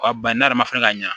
ne yɛrɛ ma fana ka ɲan